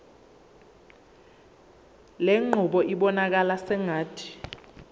lenqubo ibonakala sengathi